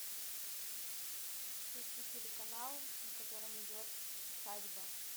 включи телеканал на котором идет усадьба